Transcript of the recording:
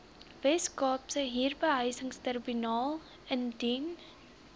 weskaapse huurbehuisingstribunaal indien